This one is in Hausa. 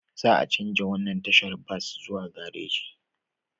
Za a chanja wannan tashar bas zuwa garaji